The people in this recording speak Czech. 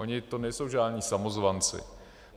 Oni to nejsou žádní samozvanci.